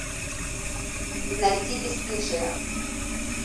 найти бесстыжие